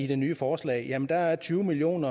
det nye forslag jamen der er tyve million